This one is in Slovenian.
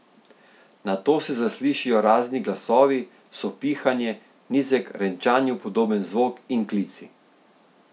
Nato se zaslišijo razni glasovi, sopihanje, nizek, renčanju podoben zvok in klici.